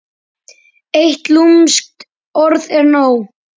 Eitt lúmskt orð er nóg.